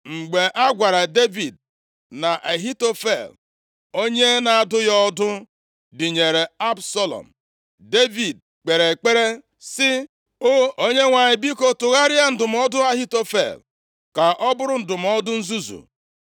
Mgbe a gwara Devid na Ahitofel onye na-adụ ya ọdụ dịnyere Absalọm, Devid kpere ekpere sị, “O Onyenwe anyị, biko, tụgharịa ndụmọdụ Ahitofel ka ọ bụrụ ndụmọdụ nzuzu.”